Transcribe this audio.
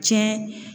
Cɛ